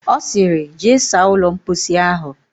Ọ sịrị, jee saa ụlọ mposi ahụ!